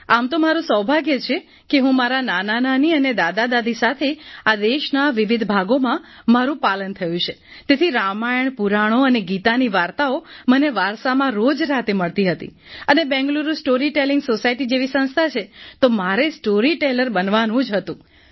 આમ તો મારું સૌભાગ્ય છે કે હું મારા નાનાનાની અને દાદાદાદી સાથે આ દેશના વિવિધ ભાગોમાં મારું પાલન થયું છે તેથી રામાયણ પુરાણો અને ગીતાની વાર્તાઓ મને વારસામાં રોજ રાતે મળતી હતી અને બેંગલુરુ સ્ટોરી ટેલીંગ સોસાયટી જેવી સંસ્થા છે તો મારે સ્ટોરીટેલર બનવાનું જ હતું